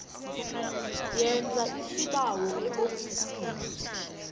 yenza isibawo eofisini